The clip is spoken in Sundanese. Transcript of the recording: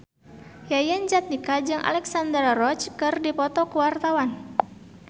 Yayan Jatnika jeung Alexandra Roach keur dipoto ku wartawan